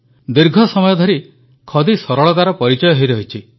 ଦୀର୍ଘ ସମୟ ଧରି ଖଦି ସରଳତାର ପରିଚୟ ହୋଇରହିଛି